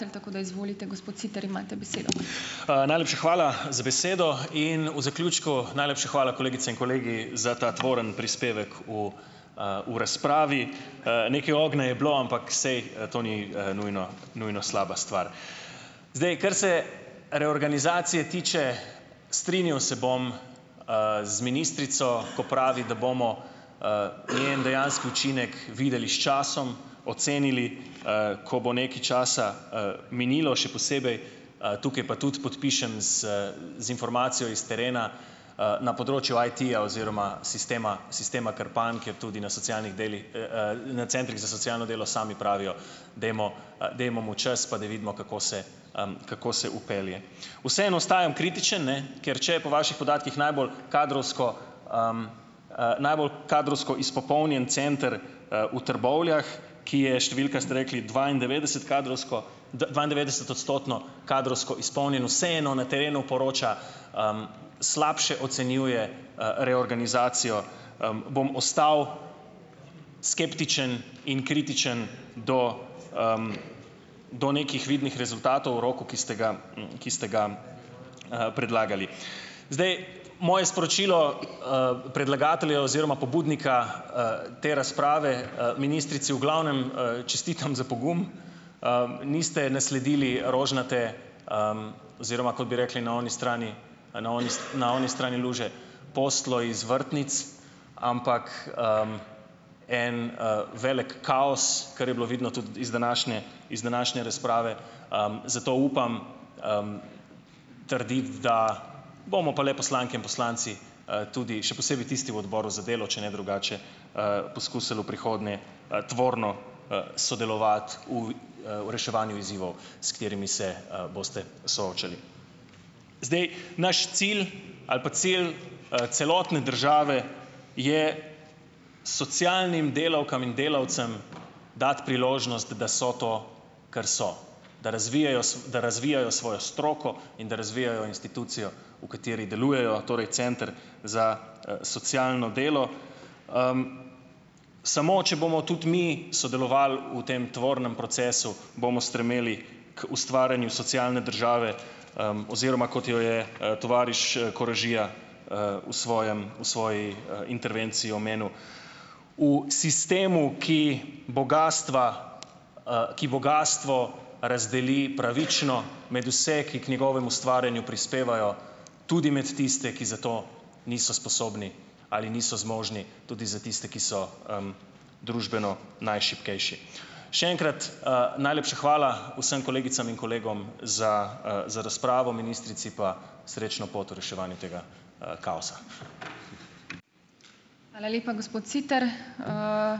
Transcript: Najlepša hvala za besedo. In v zaključku, najlepša hvala, kolegice in kolegi, za ta tvoren prispevek v, v razpravi. Nekaj ognja je bilo, ampak saj to ni, nujno nujno slaba stvar. Zdaj, kar se reorganizacije tiče, strinjal se bom, z ministrico, ko pravi, da bomo, njen dejanski učinek videli s časom, ocenili, ko bo nekaj časa, minilo, še posebej, tukaj pa tudi podpišem z z informacijo iz terena, na področju IT-ja oziroma sistema sistema Krpan, ki je tudi na socialnih delih, na centrih za socialno delo sami pravijo, dajmo, dajmo mu čas, pa da vidimo, kako se, kako se vpelje. Vseeno ostajam kritičen, ne, ker če je po vaših podatkih najbolj kadrovsko, najbolj kadrovsko izpopolnjen center, v Trbovljah, ki je številka, ste rekli, dvaindevetdeset kadrovsko dvaindevetdesetodstotno kadrovsko izpolnjen, vseeno na terenu poroča, slabše ocenjuje, reorganizacijo, bom ostal skeptičen in kritičen do, do nekih vidnih rezultatov v roku, ki ste ga, ki ste ga, predlagali. Zdaj, moje sporočilo, predlagateljev oziroma pobudnika, te razprave, ministrici, v glavnem, čestitam za pogum. Niste nasledili rožnate, oziroma kot bi rekli na oni strani na oni na oni strani luže, posteljo iz vrtnic, ampak, en, velik kaos, kar je bilo vidno tudi iz današnje iz današnje razprave, zato upam, trditi, da bomo pa le poslanke in poslanci, tudi, še posebej tisti v odboru za delo, če ne drugače, poizkusili v prihodnje, tvorno, sodelovati v v reševanju izzivov, s katerimi se boste soočali. Zdaj, naš cilj ali pa cilj, celotne države je socialnim delavkam in delavcem dati priložnost, da so to, kar so. Da razvijejo da razvijajo svojo stroko in da razvijajo institucijo, v kateri delujejo, torej center za socialno delo. Samo če bomo tudi mi sodelovali v tem tvornem procesu, bomo stremeli k ustvarjanju socialne države, oziroma kot jo je, tovariš Koražija, v svojem v svoji, intervenciji omenil, v sistemu, ki bogastva, ki bogastvo razdeli pravično med vse, ki k njegovemu ustvarjanju prispevajo, tudi med tiste, ki za to niso sposobni ali niso zmožni, tudi za tiste, ki so, družbeno najšibkejši. Še enkrat, najlepša hvala vsem kolegicam in kolegom za, za razpravo, ministrici pa srečno pot v reševanju tega, kaosa.